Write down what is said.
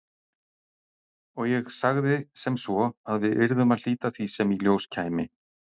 Og ég sagði sem svo að við yrðum að hlíta því sem í ljós kæmi.